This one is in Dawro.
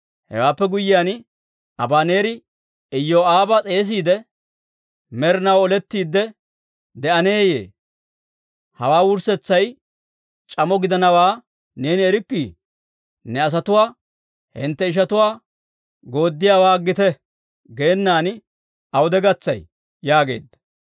Hewaappe guyyiyaan Abaneeri Iyoo'aaba s'eesiide, «Med'inaw olettiide de'aneeyye? Hawaa wurssetsay c'amo gidanawaa neeni erikkii? Ne asatuwaa, ‹Hintte ishatuwaa yederssiyaawaa aggite› geenan awude gatsay?» yaageedda.